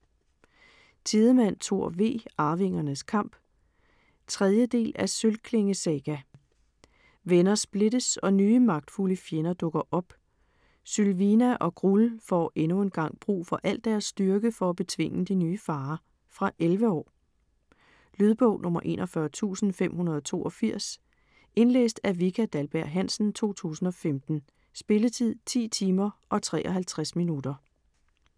Tidemand, Thor V.: Arvingernes kamp 3. del af Sølvklinge saga. Venner splittes og nye, magtfulde fjender dukker op. Sylvina og Grull får endnu en gang brug for al deres styrke for at betvinge de nye farer. Fra 11 år. Lydbog 41582 Indlæst af Vika Dahlberg-Hansen, 2015. Spilletid: 10 timer, 53 minutter.